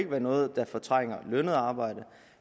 være noget der fortrænger lønnet arbejde